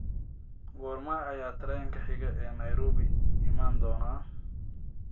goorma ayaa tareenka xiga ee nairobi iman doona